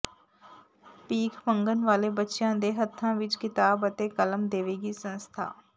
ਭੀਖ ਮੰਗਣ ਵਾਲੇ ਬੱਚਿਆਂ ਦੇ ਹੱਥਾਂ ਵਿਚ ਕਿਤਾਬ ਅਤੇ ਕਲਮ ਦੇਵੇਗੀ ਸੰਸਥਾ